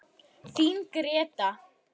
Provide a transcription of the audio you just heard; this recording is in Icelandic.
Þín Gréta.